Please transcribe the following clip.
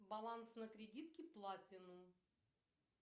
баланс на кредитке платинум